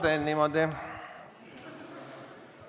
Ma teen niimoodi.